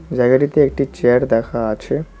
জায়গাটিতে একটি চেয়ার দেখা আছে।